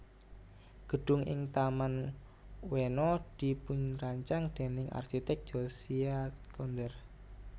Gedung ing Taman Ueno dipunrancang déning arsitek Josiah Conder